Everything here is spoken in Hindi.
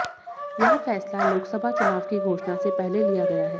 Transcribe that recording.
यह फैसला लोकसभा चुनाव की घोषणा से पहले लिया गया है